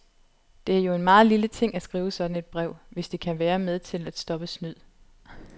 Det er jo en meget lille ting at skrive sådan et brev, hvis det kan være med til at stoppe snyd.